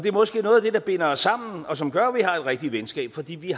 måske noget af det der binder os sammen og som gør at vi har et rigtigt venskab fordi vi